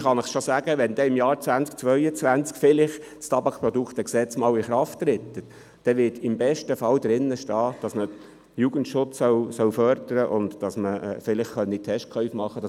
Wenn im Jahr 2022 das TabPG vielleicht in Kraft tritt, wird im besten Fall darin stehen, dass Jugendschutz gefördert werden soll und dass Testkäufe gemacht werden können.